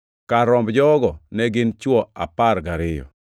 Kar romb jogo ne gin chwo apar gariyo.